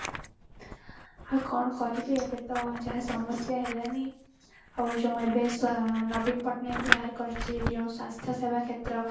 ଆଉ କଣ କରିବି ଏବେ ତ ଯାହା ସମସ୍ୟା ହେଲାଣି ଆଉ ଯୋଉ ଏବେ ସ ନବୀନ ପଟ୍ଟନାୟକ ବାହାର କରିଚି ଯୋଉଁ ସ୍ୱାସ୍ଥ୍ୟ ସେବା କ୍ଷେତ୍ର